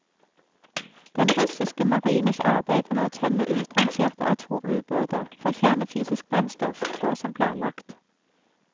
Den russiske marines arbeid med å tømme utrangerte atomubåter for kjernefysisk brennstoff, går som planlagt.